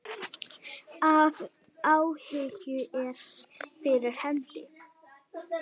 Ef áhuginn er fyrir hendi.